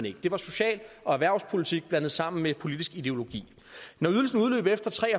ikke det var social og erhvervspolitik blandet sammen med politisk ideologi når ydelsen udløb efter tre